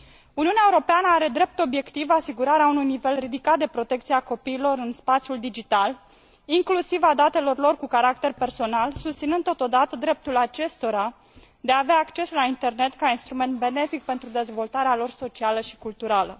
Uniunea Europeană are drept obiectiv asigurarea unui nivel ridicat de protecție a copiilor în spațiul digital, inclusiv a datelor lor cu caracter personal, susținând totodată dreptul acestora de a avea acces la internet ca instrument benefic pentru dezvoltarea lor socială și culturală.